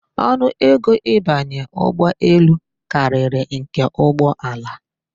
Ọnụego ịbanye ụgbọelu karịrị nke ụgbọala